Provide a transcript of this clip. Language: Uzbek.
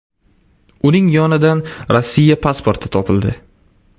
Uning yonidan Rossiya pasporti topildi.